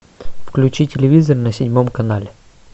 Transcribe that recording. включи телевизор на седьмом канале